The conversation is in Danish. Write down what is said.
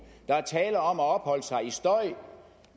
der er tale om at opholde sig i støj